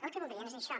el que voldrien és això